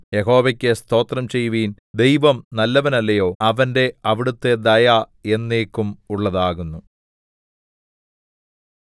യഹോവയ്ക്കു സ്തോത്രം ചെയ്യുവിൻ ദൈവം നല്ലവനല്ലയോ അവന്റെ അവിടുത്തെ ദയ എന്നേക്കും ഉള്ളതാകുന്നു